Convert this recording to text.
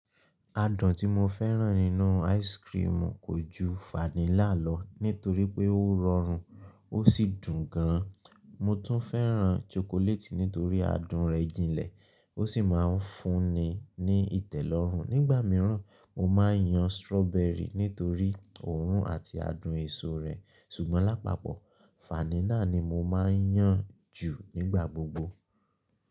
Adùn tí mo fẹ́ràn nínú áìsikirimu kò ju fanílà lọ nítorí pé ó rọrùn ó sì dùn gan. Mo tún fẹ́ràn ṣokoléètì nítorí adùn rẹ̀ jìnlẹ̀, ó sì máa ń fúnni ní ìtẹ́lọ́rùn. Nígbà mìíràn, mo máa ń yan sirọ́bẹrì nítorí òórùn àti adùn èso rẹ̀. Ṣùgbọ́n lápapọ̀ fanílà ni mo máa ń yàn jù nígbà gbogbo.